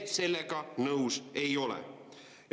Ja sellega me nõus ei ole.